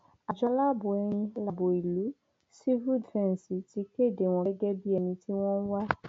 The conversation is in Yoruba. àjọ aláàbọ ẹni láàbọ ìlú sífù dìfẹǹsì ti kéde wọn gẹgẹ bíi ẹni tí wọn ń wá